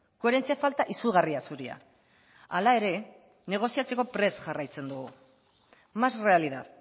koherentzia falta izugarria zurea hala ere negoziatzeko prest jarraitzen dugu más realidad